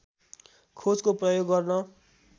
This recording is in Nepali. खोजको प्रयोग गर्न